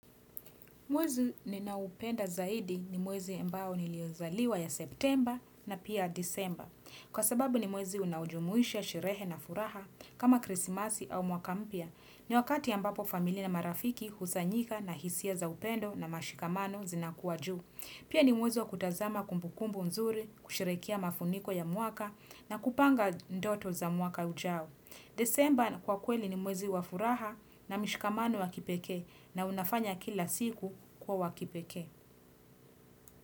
Mwezi ninaoupenda zaidi ni mwezi ambao niliozaliwa ya September na pia December. Kwa sababu ni mwezi unaoujumuisha sherehe na furaha kama krisimasi au mwaka mpya. Ni wakati ambapo familia na marafiki husanyika na hisia za upendo na mashikamano zinakuwa juu. Pia ni mwezi wa kutazama kumbukumbu nzuri, kusherekea mafuniko ya mwaka na kupanga ndoto za mwaka ujao. Disemba kwa kweli ni mwezi wa furaha na mishikamano wa kipekee na unafanya kila siku kuwa wa kipekee.